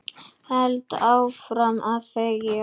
Held áfram að þegja.